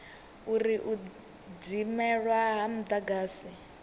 uri u dzimelwa ha mudagasi